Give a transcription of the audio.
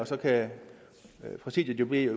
så kan præsidiet jo bede